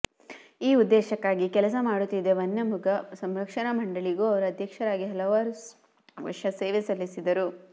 ಈ ಉದ್ದೇಶಕ್ಕಾಗಿ ಕೆಲಸ ಮಾಡುತ್ತಿದ್ದ ವನ್ಯಮೃಗ ಸಂರಕ್ಷಣಾ ಮಂಡಳಿಗೂ ಅವರು ಅಧ್ಯಕ್ಷರಾಗಿ ಹಲವಾರು ವರ್ಷ ಸೇವೆ ಸಲ್ಲಿಸಿದರು